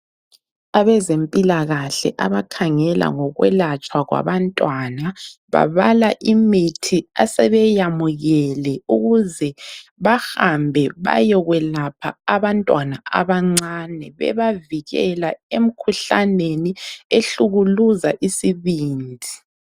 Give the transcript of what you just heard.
Abazempilakahle abakhangela ngokwelatshwa kwabantwana babala imithi asebeyamukele ukuze bahambe bayokwelapha abantwana abancane bebavikela emkhuhlaneni ehlukuluza isibindi.